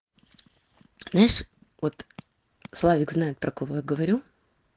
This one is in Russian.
знаешь вот славик знает про кого я говорю